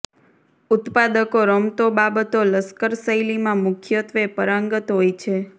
ઉત્પાદકો રમતો બાબતો લશ્કર શૈલીમાં મુખ્યત્વે પારંગત હોય છે